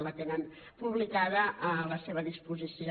la tenen publicada a la seva disposició